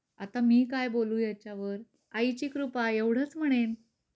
आता मी काय बोलू याच्यावर. आईची कृपा एवढच म्हणेन.